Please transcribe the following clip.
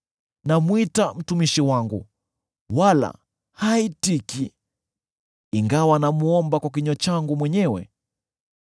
Namwita mtumishi wangu, wala haitiki, ingawa namwomba kwa kinywa changu mwenyewe.